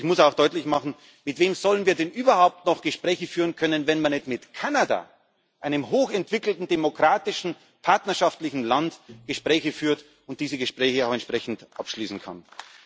Und ich muss auch deutlich machen Mit wem sollen wir denn überhaupt noch Gespräche führen können, wenn wir nicht mit Kanada, einem hochentwickelten demokratischen, partnerschaftlichen Land, Gespräche führen und diese Gespräche auch entsprechend abschließen können?